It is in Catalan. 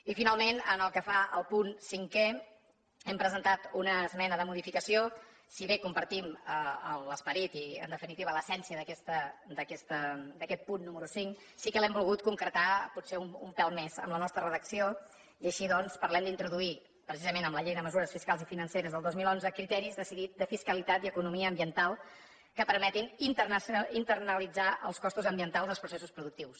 i finalment pel que fa al punt cinquè hem presentat una esmena de modificació si bé compartim l’esperit i en definitiva l’essència d’aquest punt número cinc sí que l’hem volgut concretar potser un pèl més amb la nostra redacció i així doncs parlem d’introduir precisament amb la llei de mesures fiscals i financeres del dos mil onze criteris de fiscalitat i economia ambiental que permetin internalitzar els costos ambientals dels processos productius